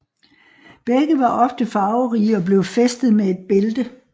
Begge var ofte farverige og blev fæstet med et bælte